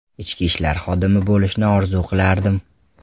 Ichki ishlar xodimi bo‘lishni orzu qilardim.